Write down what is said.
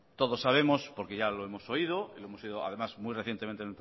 todos sabemos porque ya lo hemos oído y lo hemos oído además muy recientemente